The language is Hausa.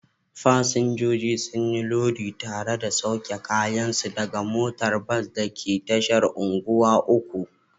Fasinjoji sun yi lodi tare da sauke kayansu daga motar bas da ke tashar unguwa uku.